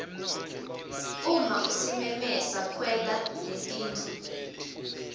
uma usimeme sakhelwa netindlu